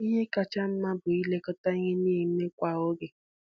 Ihe kacha mma bụ ilekọta ihe na-eme kwa oge.